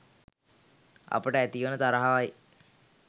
අපට ඇති වන තරහවයි.